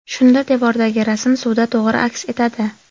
Shunda devordagi rasm suvda to‘g‘ri aks etadi.